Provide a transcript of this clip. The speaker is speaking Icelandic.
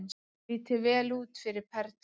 Lítur vel út fyrir Perlu